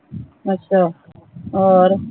ਅੱਛਾ ਹੋਰ